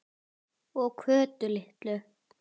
Og Kötu litlu.